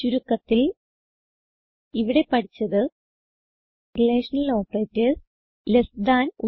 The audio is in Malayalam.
ചുരുക്കത്തിൽ ഇവിടെ പഠിച്ചത് റിലേഷണൽ ഓപ്പറേറ്റർസ് ലെസ് താൻ